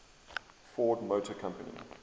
ford motor company